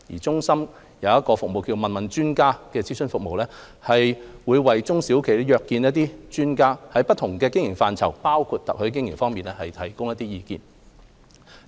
中心的"問問專家"業務諮詢服務，為中小企業約見專家，在不同經營範疇，包括特許經營提供意見。